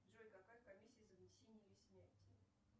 джой какая комиссия за внесение или снятие